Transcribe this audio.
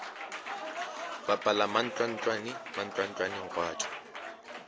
bapala mantlwantlwane mantlwantlwaneng gwa tšwa